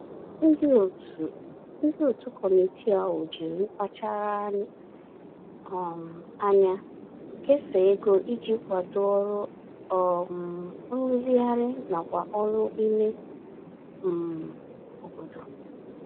Ndị òtù Ndị òtù committee ahụ jiri mkpachara um ányá kesaa égo iji kwadoo ọrụ um nrụzigharị nakwa oru ime um obodo